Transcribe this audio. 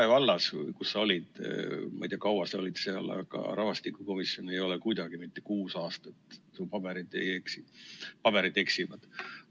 Rae vallas, kus sa olid, ma ei tea, kaua sa olid seal, aga rahvastikukomisjon ei ole kuidagi mitte kuus aastat, su paberid eksivad.